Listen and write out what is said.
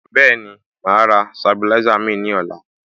Bẹ́ẹ̀ni, màá rà Sabilisa mìíràn ní ọ̀la